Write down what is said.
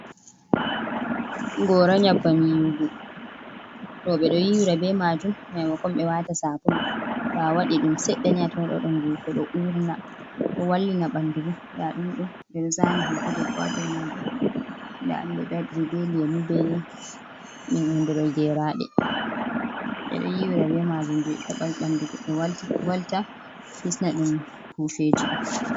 Gora nyabbam yiwugo roɓe ɗo yiwira be majum mai makon ɓe waɗa sabulu, to a waɗi ɗum seɗɗani atawan ɗo waɗa ngufo ɗo urna, ɗo wallina ɓanɗu bo nda ɗum ɗo ɓeɗo zani hoto debbo ha dou majum, nda ɗum ɗo ɓe waɗi ri be lemu be hunde ɗo geraɗe, ɓedo yiwira be majum hebe ɓanɗu goɗɗo walta, hisna ɗum pufeji ɗum.